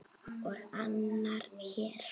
Og annar hér!